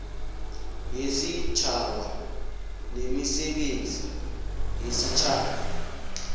yesitjhaba nemisebenzi yesitjhaba